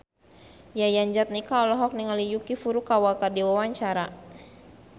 Yayan Jatnika olohok ningali Yuki Furukawa keur diwawancara